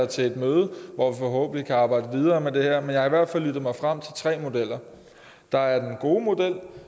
til et møde hvor vi forhåbentlig kan arbejde videre med det her men jeg har i hvert fald lyttet mig frem til tre modeller der er den gode model